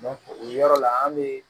o yɔrɔ la an be